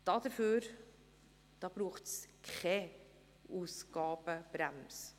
Dafür braucht es Ausgabenbremse.